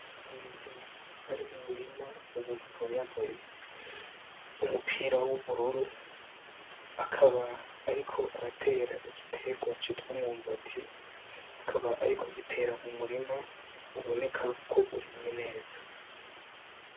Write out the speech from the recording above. Umuntu ari mumurima uwo muntu akaba yambaye umupira w'ubururu akaba ariko aratera igiterwa citwa umwumbati akaba ariko agitera mumurima uboneka ko urimye neza